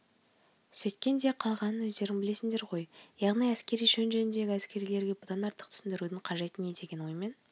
сөйткен де қалғанын өздерің білесіңдер ғой яғни әскери шен жөнінде әскерилерге бұдан артық түсіндірудің қажеті не деген оймен